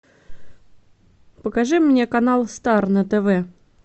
покажи мне канал стар на тв